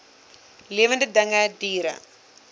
lewende dinge diere